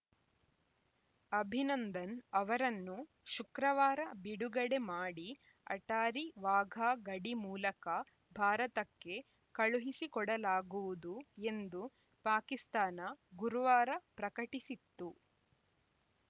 ಅಭಿನಂದನ್‌ ಅವರನ್ನು ಶುಕ್ರವಾರ ಬಿಡುಗಡೆ ಮಾಡಿ ಅಟ್ಟಾರಿ ವಾಘಾ ಗಡಿ ಮೂಲಕ ಭಾರತಕ್ಕೆ ಕಳುಹಿಸಿಕೊಡಲಾಗುವುದು ಎಂದು ಪಾಕಿಸ್ತಾನ ಗುರುವಾರ ಪ್ರಕಟಿಸಿತ್ತು